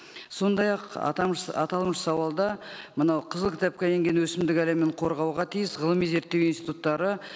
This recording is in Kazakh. сондай ақ аталмыш сауалда мынау қызыл кітапқа енген өсімдік әлемін қорғауға тиіс ғылыми зерттеу институттары